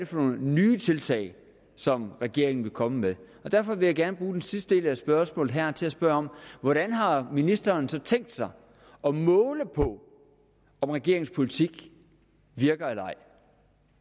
for nogle nye tiltag som regeringen vil komme med derfor vil jeg gerne bruge den sidste del af spørgsmålet her til at spørge hvordan har ministeren så tænkt sig at måle på om regeringens politik virker eller ej